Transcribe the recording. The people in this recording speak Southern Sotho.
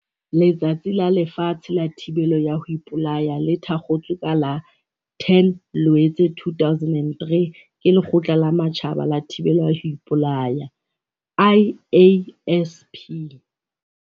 Letsatsi la Lefatshe la Thibelo ya ho Ipolaya le thakgotswe ka la 10 Loetse 2003, ke Lekgotla la Matjhaba la Thibelo ya ho Ipolaya, IASP.